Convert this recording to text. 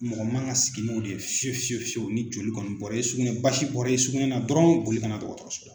Mɔgɔ man kan sigi n'o de ye fiye fiye fiyewu ni joli kɔni bɔra i sugunɛ basi bɔra i sugunɛ na dɔrɔn boli kana dɔgɔtɔrɔso la.